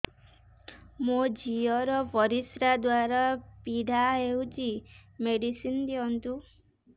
ମୋ ଝିଅ ର ପରିସ୍ରା ଦ୍ଵାର ପୀଡା ହଉଚି ମେଡିସିନ ଦିଅନ୍ତୁ